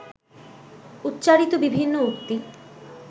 উচ্চারিত বিভিন্ন উক্তি